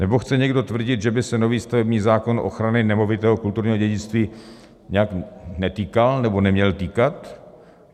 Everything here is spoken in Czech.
Nebo chce někdo tvrdit, že by se nový stavební zákon ochrany nemovitého kulturního dědictví nějak netýkal nebo neměl týkat?